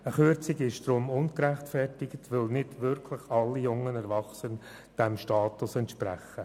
Eine Kürzung ist deshalb ungerechtfertigt, weil nicht wirklich alle jungen Erwachsenen diesem Status entsprechen.